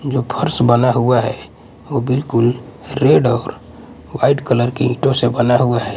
जो फर्श बना हुआ है वो बिल्कुल रेड और व्हाइट कलर के ईंटों से बना हुआ है।